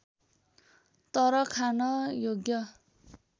तर खान योग्य